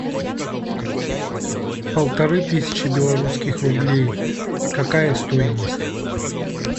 полторы тысячи белорусских рублей какая стоимость